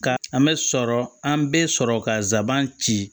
Ka an bɛ sɔrɔ an bɛ sɔrɔ ka zaban ci